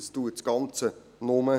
Das erschwert das Ganze nur.